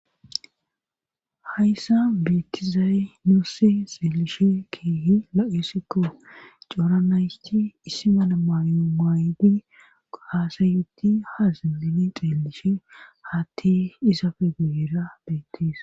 Hayssa beetizayy nuusi xeelishe kiehi lo7issikko coora nayti issimana maayo maaydi aasayuti ha zimmini xeelishe haatti isafe guyeera beettisa.